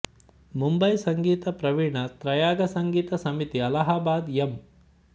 ಮುಂಬೈ ಸಂಗೀತ ಪ್ರವೀಣ ತ್ರಯಾಗ ಸಂಗೀತ ಸಮಿತಿ ಅಲಹಾಬಾದ ಎಂ